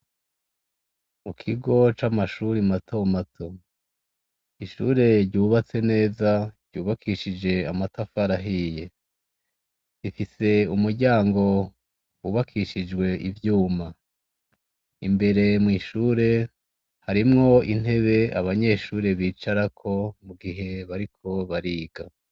Mu kigo c' amashure matomato, ishure ryubatse neza ryubakishij' amatafar'ahiye, rifis' umuryango wubakishij' ivyuma, imbere mw' ishure harimw' inteb' abanyeshure bicarako mu gihe bariko bariga.